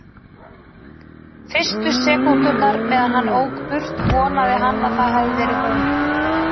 Fyrstu sekúndurnar meðan hann ók burt vonaði hann að það hefði verið hún.